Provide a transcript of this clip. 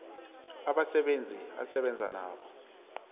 abasebenzi asebenza nabo